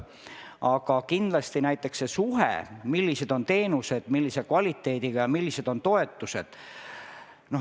Aga kindlasti on tähtis näiteks see suhe, millise kvaliteediga on teenused ja millised on toetused.